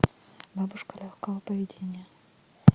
бабушка легкого поведения